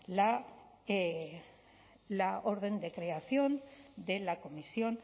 la orden de creación de la comisión